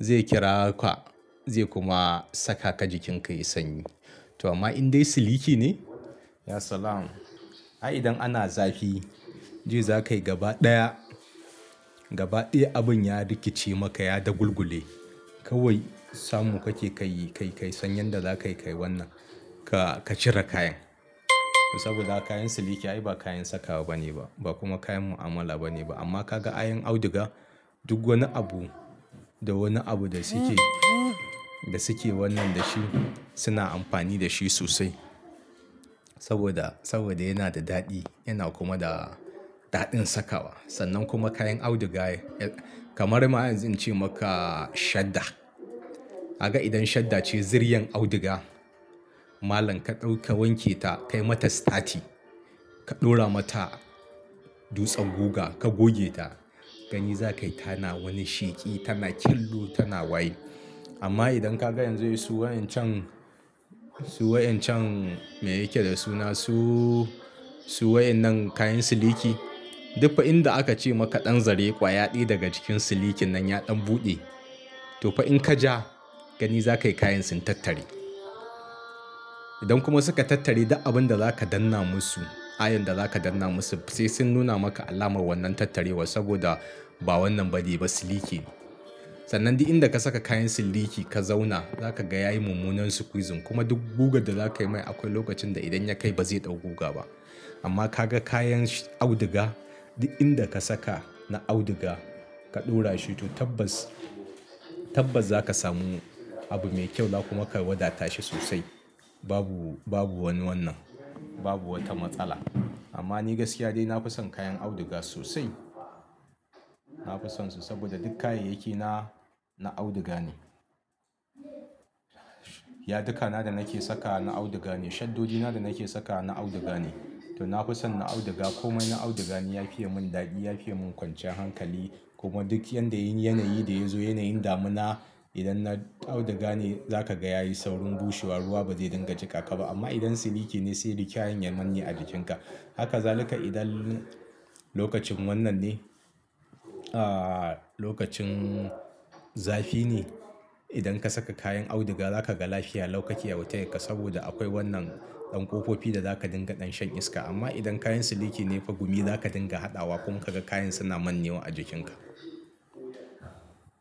zai kira ka zai kuma saka ka jikinka yayi sanyi. To amma in dai siliki ne ya salam. Ai idan ana zafi ji za ka yi gaba ɗaya, gaba ɗaya abin ya rikice maka ya dagulgule. Kawai samu kake ka yi, ka yi, ka yi sanyan da za ka yi ka yi wannan ka cire kayan. Saboda kayan siliki ai ba kayan sakawa bane ba ba kuma kayan mu'amala bane ba. Amma ka ga ayan auduga duk wani abu da wani abu da suke, da suke wannan da shi suna amfani da shi sosai. Saboda, saboda yana da daɗi yana kuma da daɗin sakawa. Sannan kuma kayan auduga kamar ma in ce maka shadda. Kaga idan shadda ce zuriyan auduga malam ka ɗauka wanke ta ka yi mata stati ka ɗora mata dutsen guga ka goge ta gani za ka yi tana wani sheƙi tana killu tana wayi. Amma idan ka ga yanzu wai su wayan can, su wayan can me yake da suna su, su wayan nan kayan siliki duk fa inda aka ce maka ɗan zare ƙwaya ɗaya daga cikin silikin nan ya ɗan buɗe to fa in ka ja gani za ka yi kayan sun tattari. Idan kuma suka tattari duk abun da za ka danna musu ayan da za ka danna musu sai sun nuna maka alamar wannan tattarewa saboda ba wannan ba ne ba siliki. Sannan dai inda ka saka kayan siliki ka zauna za ka ga ya yi mummunar squeezing kuma duk guga da za ka yi mai akwai lokacin da idan ya kai ba zai ɗau guga ba. Amma ka ga kayan auduga duk inda ka saka na auduga ka ɗora shi to tabbas, tabbas za ka samu abu mai kyau kuma ka wadata shi sosai. Babu, babu wani wannan, babu wata matsala. Amma ni gaskiya dai na fi son kayan auduga sosai. Na fi sonsu saboda duk kayayyaki na, na auduga ne. Yaduka na da nake sakawa na auduga ne shaddoni na da nake sakawa na auduga ne. To na fi son na auduga komai na auduga ne ya fiya mun dadi ya fiya mun kwancan hankali. Kuma duk yadda yin yanayi da yazo yanayin damina idan na auduga ne za ka ga ya yi saurin bushewa ruwa ba zai dinga cika ka ba. Amma idan siliki ne sai rikiyen ya manne a jikinka. Haka zalika idan lokacin wannan ne, ah, lokacin zafi ne idan ka saka kayan auduga za ka ga lafiya lau ka kiyi bautar ka saboda akwai wannan ɗan ƙofofi da za ka dinga ɗan shan iska. Amma idan kayan siliki ne fa gumi za ka dinga haɗawa kuma ka ga kayan suna manne wa a jikinka.